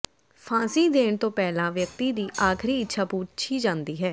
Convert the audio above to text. ਫ਼ਾਂਸੀ ਦੇਣ ਤੋਂ ਪਹਿਲਾਂ ਵਿਅਕਤੀ ਦੀ ਆਖਰੀ ਇੱਛਾ ਪੁੱਛੀ ਜਾਂਦੀ ਹੈ